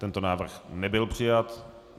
Tento návrh nebyl přijat.